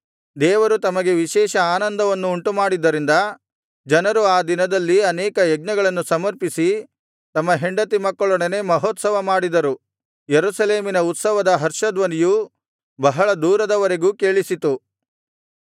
ದೇವರು ತಮಗೆ ವಿಶೇಷ ಆನಂದವನ್ನು ಉಂಟುಮಾಡಿದ್ದರಿಂದ ಜನರು ಆ ದಿನದಲ್ಲಿ ಅನೇಕ ಯಜ್ಞಗಳನ್ನು ಸಮರ್ಪಿಸಿ ತಮ್ಮ ಹೆಂಡತಿ ಮಕ್ಕಳೊಡನೆ ಮಹೋತ್ಸವಮಾಡಿದರು ಯೆರೂಸಲೇಮಿನ ಉತ್ಸವದ ಹರ್ಷಧ್ವನಿಯು ಬಹಳ ದೂರದವರೆಗೂ ಕೇಳಿಸಿತು